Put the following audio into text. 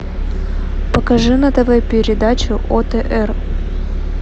покажи на тв передачу отр